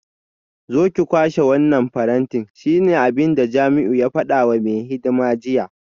Zo ki kwashe wannan faranti shine abinda Jamiu ya fada wa mai hidima jiya